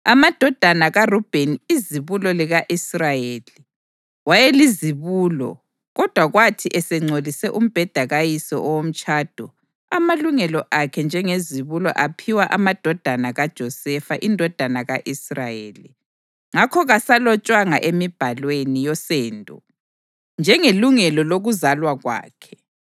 Amadodana kaRubheni izibulo lika-Israyeli (wayelizibulo, kodwa kwathi esengcolise umbheda kayise owomtshado, amalungelo akhe njengezibulo aphiwa amadodana kaJosefa indodana ka-Israyeli, ngakho kasalotshwanga emibhalweni yosendo njengelungelo lokuzalwa kwakhe,